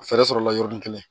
Fɛɛrɛ sɔrɔ la yɔrɔnin kelen